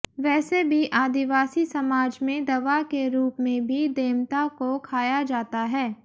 वैसे भी आदिवासी समाज में दवा के रूप में भी देमता को खाया जाता है